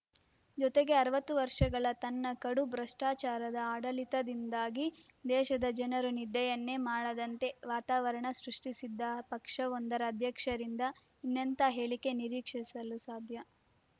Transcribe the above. ಜೊತೆಗೆ ಅರವತ್ತು ವರ್ಷಗಳ ತನ್ನ ಕಡು ಭ್ರಷ್ಟಾಚಾರದ ಆಡಳಿತದಿಂದಾಗಿ ದೇಶದ ಜನರು ನಿದ್ದೆಯನ್ನೇ ಮಾಡದಂಥ ವಾತಾವರಣ ಸೃಷ್ಟಿಸಿದ್ದ ಪಕ್ಷವೊಂದರ ಅಧ್ಯಕ್ಷರಿಂದ ಇನ್ನೆಂಥ ಹೇಳಿಕೆ ನಿರೀಕ್ಷಿಸಲು ಸಾಧ್ಯ